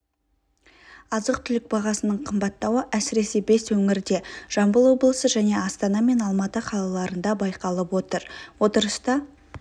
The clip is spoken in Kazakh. азық-түлік бағасының қымбаттауы әсіресе бес өңірде жамбыл облысы және астана мен алматы қалаларында байқалып отыр отырыста